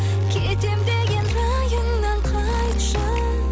кетем деген райыңнан қайтшы